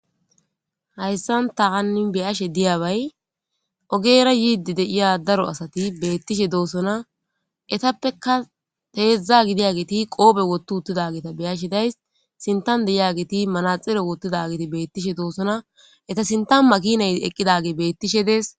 Haysan ta hanin be'ashe diyabay ogera yido de'aya daro asat betishe dosona, etappeka hezdzda gidiyaget qope wothi utidageta beyashe days, sintan de'iyaget manaxire wotidageti betishe dosona , eta sintan makinay eqidagey betishe Des.